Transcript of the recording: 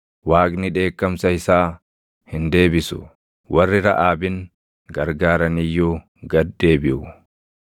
Waaqni dheekkamsa isaa hin deebisu; warri Raʼaabin gargaaran iyyuu gad deebiʼu.